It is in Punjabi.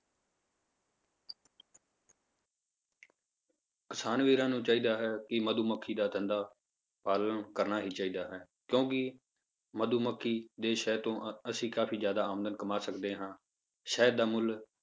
ਕਿਸਾਨ ਵੀਰਾਂ ਨੂੰ ਚਾਹੀਦਾ ਹੈ ਕਿ ਮਧੂਮੱਖੀ ਦਾ ਧੰਦਾ ਪਾਲਣ ਕਰਨਾ ਹੀ ਚਾਹੀਦਾ ਹੈ, ਕਿਉਂਕਿ ਮਧੂਮੱਖੀ ਦੇ ਸ਼ਹਿਦ ਤੋਂ ਅਹ ਅਸੀਂ ਕਾਫ਼ੀ ਜ਼ਿਆਦਾ ਆਮਦਨ ਕਮਾ ਸਕਦੇ ਹਾਂ, ਸ਼ਹਿਦ ਦਾ ਮੁੱਲ